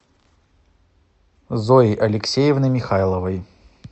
зои алексеевны михайловой